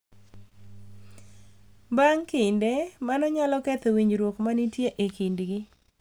Bang’ kinde, mano nyalo ketho winjruok ma nitie e kindgi